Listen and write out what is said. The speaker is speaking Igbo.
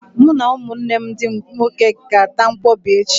Mụ na ụmụnne m ndị nwoke ga-ata nkwọbi echi.